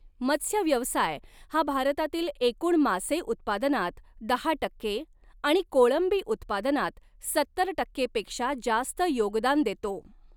मत्स्यव्यवसाय हा भारतातील एकूण मासे उत्पादनात दहा टक्के आणि कोळंबी उत्पादनात सत्तर टक्के पेक्षा जास्त योगदान देतो.